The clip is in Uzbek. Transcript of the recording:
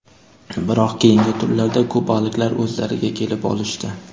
Biroq keyingi turlarda kubaliklar o‘zlariga kelib olishdi.